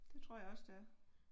Det tror jeg også det er